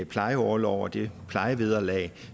plejeorlov og det plejevederlag